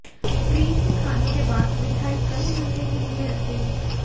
fridge में खाने के बाद मिठाई कई घंटे के लिए रखें